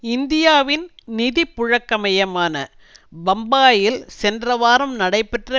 இந்தியாவின் நிதிபுழக்க மையமான பம்பாயில் சென்ற வாரம் நடைபெற்ற